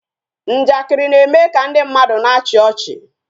Njakịrị na-eme ka ndị mmadụ na-achị ọchị